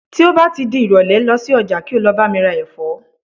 ti o ba ti di irole, losi oja ki o lo ba mi ra efo